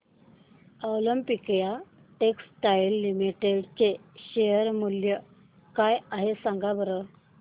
Olympia textiles limited चे share मूल्य काय आहे सांगा बरं